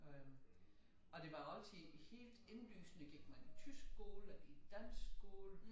Øh og det var jo altid helt indlysende gik man i tysk skole og gik dansk skole